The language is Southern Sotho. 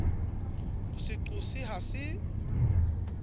ho se qose ha se